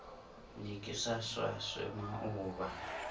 ne ke sa swaswe maoba